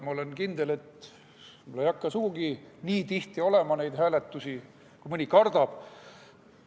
Ma olen kindel, et ei hakka sugugi nii tihti olema neid hääletusi, kui mõni kardab.